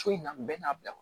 So in na bɛn n'a bila